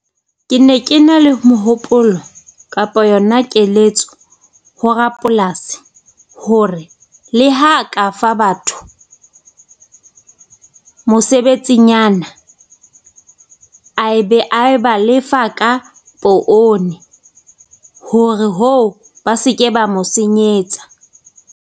Ke ne ke na le mohopolo kapa yona keletso ho rapolasi hore, le ha ka fa batho mosebetsinyana ae be a ba lefa ka poone hore hoo ba se ke ba mo senyetsa.